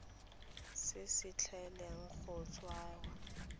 se se tlileng go tsewa